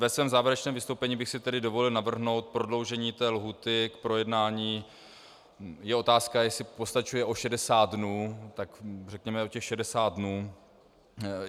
Ve svém závěrečném vystoupení bych si tedy dovolil navrhnout prodloužení té lhůty k projednání - je otázka, jestli postačuje o 60 dnů, tak řekněme o těch 60 dnů.